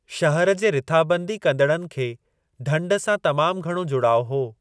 शहर जे रिथाबंदी कंदड़नि खे ढंढ सां तमामु घणो जुड़ाउ हो।